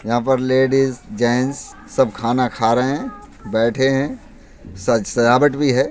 यहाँ पर ladies gents सब खाना खा रहे हैं बैठे हैं सज सजावट भी है।